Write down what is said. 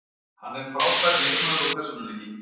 Hann er frábær leikmaður og persónuleiki.